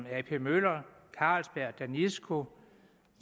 ap møller carlsberg danisco